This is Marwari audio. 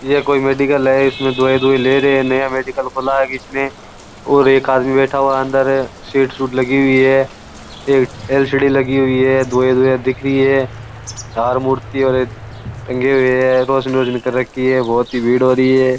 ये कोई मेडिकल इसमें दवाई ले रहे है नया मेडिकल खुला है इसमें और एक आदमी बैठा है अंदर सीट लगी हुई है एक एल_सी_डी लगी हुई है दवाई दिख है बाहर मूर्ति टंगी हुई है रौशनी हो रही है बहुत भीड़ हो रही है।